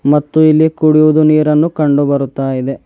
ಮತ್ತು ಇಲ್ಲಿ ಕುಡಿಯುವುದು ನೀರನ್ನು ಕಂಡು ಬರುತ್ತಾ ಇದೆ.